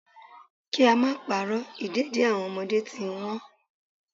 Kí á máa pa'rọ́, ìdẹ̀dì àwọn ọmọdé ti ń Wọ́n.